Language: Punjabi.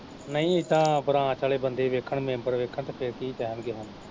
ਨਈ ਏੇੇਦਾ ਬਰਾਤ ਆਲੇੇ ਬੰਦੇ ਵੇਖਣ, ਮੈਂਬਰ ਵੇਖਣ ਤੇ ਫਿਰ ਕੀ ਕਹਿਣਗੇ।